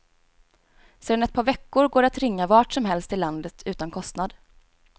Sedan ett par veckor går det att ringa vart som helst i landet, utan kostnad.